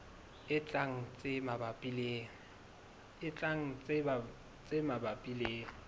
e tlang tse mabapi le